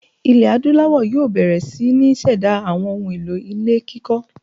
Ilẹ̀ Adúláwọ̀ yóò bẹ̀rẹ̀ sí ní ṣẹ̀dá àwọn ohun-èlò ilé kíkọ́.